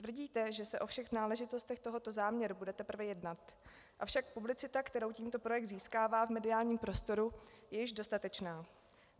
Tvrdíte, že se o všech náležitostech tohoto záměru bude teprve jednat, avšak publicita, kterou tímto projekt získává v mediálním prostoru, je již dostatečná.